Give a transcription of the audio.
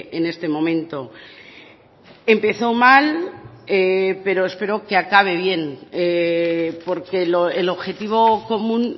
en este momento empezó mal pero espero que acabe bien porque el objetivo común